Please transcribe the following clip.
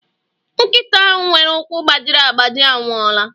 Nkịta nwere ụkwụ gbajiri agbaji anwụọla